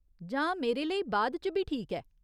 जां मेरे लेई बाद च बी ठीक ऐ।